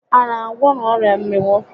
A na agwọnwu ọrịa mmịnwụ?